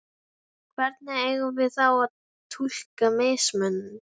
Hvernig eigum við þá að túlka mismun?